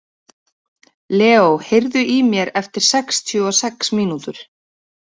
Leó, heyrðu í mér eftir sextíu og sex mínútur.